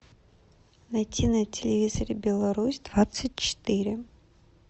найти на телевизоре беларусь двадцать четыре